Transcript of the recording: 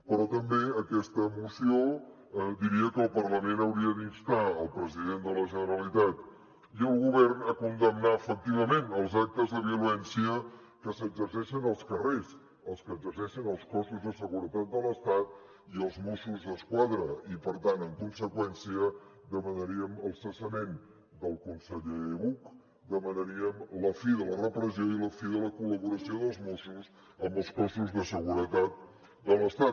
però també aquesta moció diria que el parlament hauria d’instar el president de la generalitat i el govern a condemnar efectivament els actes de violència que s’exerceixen als carrers els que exerceixen els cossos de seguretat de l’estat i els mossos d’esquadra i per tant en conseqüència demanaríem el cessament del conseller buch demanaríem la fi de la repressió i la fi de la col·laboració dels mossos amb els cossos de seguretat de l’estat